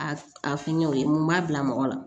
A a fɛngɛ o ye mun b'a bila mɔgɔ la